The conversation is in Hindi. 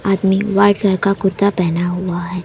आदमी व्हाइट कलर का कुर्ता पहना हुआ है।